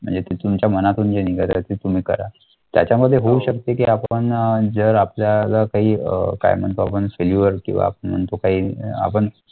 म्हणजे ते तुमच्या मनातून जे निघत आहे ते तुम्ही करा त्याच्यामध्ये होऊ शकते की आपण अं जर आपल्याला काही कारणांपासून किंवा परंतु काही आपण